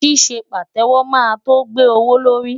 Ṣíṣe Pàtẹ́wọ́ máa tó gbé owó lórí.